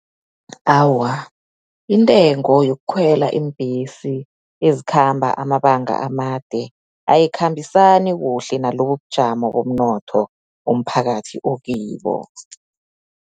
Awa, intengo yokhwela iimbhesi ezikhamba amabanga amade, ayikhambisani kuhle nalobubujamo bomnotho, umphakathi okibo.